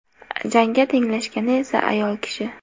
Jangga tenglashgani esa ayol kishi.